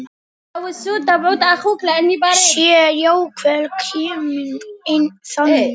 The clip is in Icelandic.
Sé jafnvel komið þangað!